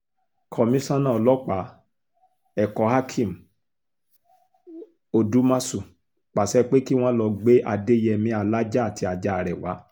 komisanna ọlọ́pàá ẹ̀kọ́hakeem odúmọ̀ṣù pàṣẹ pé kí wọ́n lọ́ọ́ gbé adéyẹmi alájà àti ajá rẹ̀ wá